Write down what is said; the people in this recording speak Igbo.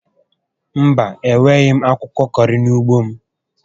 Mba, enweghi m akwụkwọ kọrị n'ugbo m